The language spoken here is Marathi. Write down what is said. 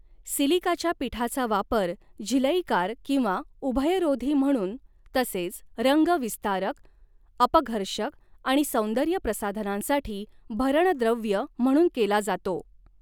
सिलिकाच्या पिठाचा वापर झिलईकार किंवा उभयरोधी म्हणून तसेच रंग विस्तारक, अपघर्षक आणि सौंदर्य प्रसाधनांसाठी भरण द्रव्य म्हणून केला जातो.